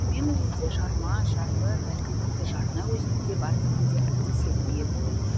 мен уезде жарма жарлы бәлкім тіпті жарна өзені де бар дегенге әбден сенімді едім